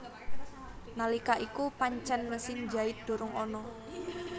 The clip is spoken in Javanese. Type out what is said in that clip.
Nalika iku pancen mesin jait durung ana